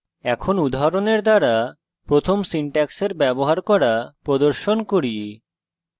এখন উদাহরণের দ্বারা প্রথম syntax ব্যবহার করা প্রদর্শন করি